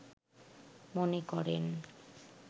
মনে করেন